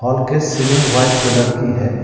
Hall के ceiling white colour की है।